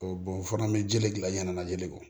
bɔn o fana bɛ jeli dilan ɲɛnajɛ kɔ